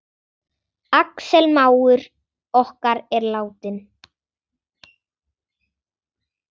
Axel mágur okkar er látinn.